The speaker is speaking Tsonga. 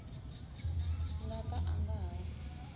nga ka a nga ha